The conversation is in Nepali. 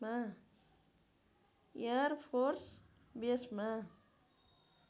air force बेसमा